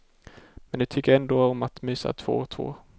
Men de tycker ändå om att mysa två och två.